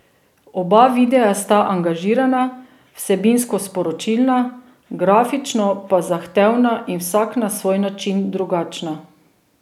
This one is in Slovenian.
Oba videa sta angažirana, vsebinsko sporočilna, grafično pa zahtevna in vsak na svoj način drugačna.